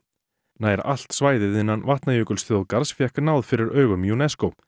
nær allt svæðið innan Vatnajökulsþjóðgarðs fékk náð fyrir augum UNESCO